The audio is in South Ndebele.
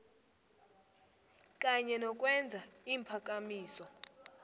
kanye nokwenza iimphakamiso